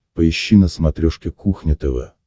поищи на смотрешке кухня тв